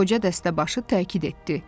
Qoca dəstəbaşı təkid etdi.